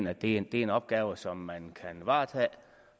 at det er en opgave som man kan varetage